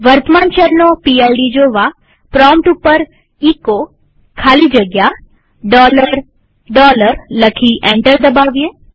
વર્તમાન શેલનો પીડ જોવા પ્રોમ્પ્ટ ઉપર એચો ખાલી જગ્યા લખી એન્ટર દબાવીએ